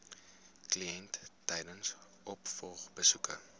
kliënt tydens opvolgbesoeke